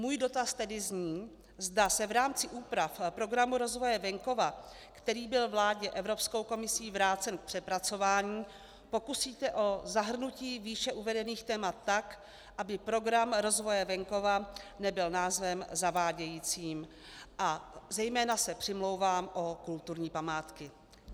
Můj dotaz tedy zní, zda se v rámci úprav Programu rozvoje venkova, který byl vládě Evropskou komisí vrácen k přepracování, pokusíte o zahrnutí výše uvedených témat tak, aby Program rozvoje venkova nebyl názvem zavádějícím, a zejména se přimlouvám o kulturní památky.